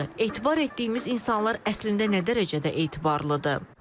Etibar etdiyimiz insanlar əslində nə dərəcədə etibarlıdır?